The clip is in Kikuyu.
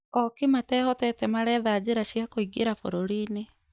Ooki matehotete maretha njĩra cia kũingĩra bũrũri-inĩ